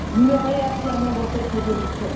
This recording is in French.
Nous le réaffirmons dans cette résolution.